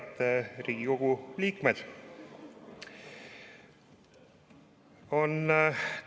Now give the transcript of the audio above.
Head Riigikogu liikmed!